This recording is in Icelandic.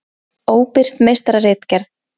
Óbirt meistararitgerð.